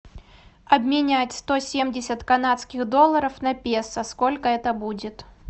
обменять сто семьдесят канадских долларов на песо сколько это будет